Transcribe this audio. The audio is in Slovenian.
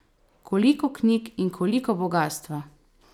Koliko knjig in koliko bogastva!